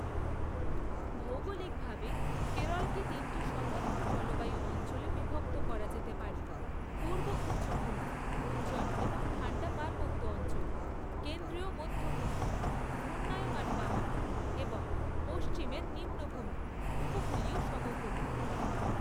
ভৌগোলিকভাবে, কেরলকে তিনটি স্বতন্ত্র জলবায়ু অঞ্চলে বিভক্ত করা যেতে পারে পূর্ব উচ্চভূমি; উজ্জ্বল এবং ঠাণ্ডা পার্বত্য অঞ্চল, কেন্দ্রীয় মধ্য ভূমি; ঘূর্ণায়মান পাহাড় এবং পশ্চিমের নিম্নভূমি; উপকূলীয় সমভূমি।